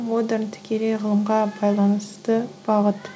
модерн тікелей ғылымға байланысты бағыт